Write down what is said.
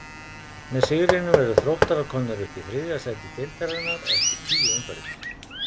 Með sigrinum eru Þróttarar komnir upp í þriðja sæti deildarinnar eftir tíu umferðir.